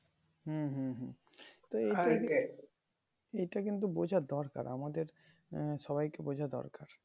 হম হম হম তো এটা কিন্তু বোঝা দরকার আমাদের আহ সবাইকে বোঝা দরকার